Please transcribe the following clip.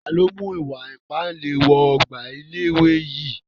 Taàní ó mú ìwà ìpánle wọ ọgbà ilé ìwé yìí?